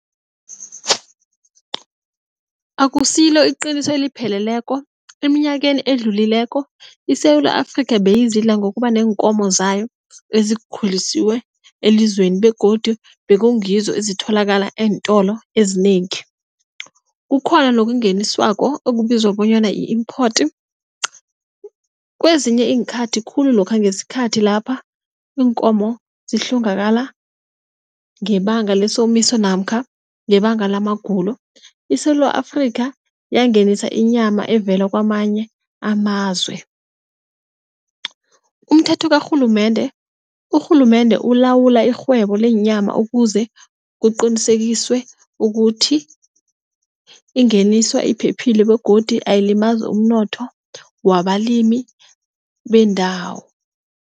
Akusilo iqiniso, elipheleleko eminyakeni edlulileko, iSewula Afrika beyizidla ngokuba neenkomo zayo ezikhulisiwe elizweni begodu bekungizo ezitholakala eentolo ezinengi. Kukhona nokungeniswako okubizwa bonyana yi-import kwezinye iinkhathi khulu lokha ngesikhathi lapha iinkomo zihlongakala ngebanga lesomiso namkha ngebanga la magulo, iSewula Afrika yangenisa inyama evela kwamanye amazwe. Umthetho karhulumende, urhulumende ulawula irhwebo leenyama ukuze kuqinisekiswe ukuthi ingeniswa iphephile begodu ayilimazi umnotho wabalimi bendawo.